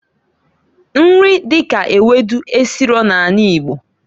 Nri dika ewedu esiro na anị Igbo.